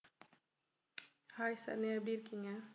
hi Saranya எப்படி இருக்கீங்க